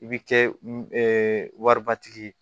I bɛ kɛ waribatigi ye